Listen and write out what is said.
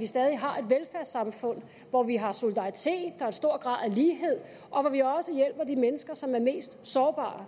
vi stadig har et velfærdssamfund hvor vi har solidaritet og stor grad af lighed og hvor vi også hjælper de mennesker som er mest sårbare